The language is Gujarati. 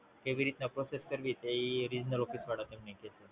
કેવી રીતે કરવાનું એ Regional office માં બતાવી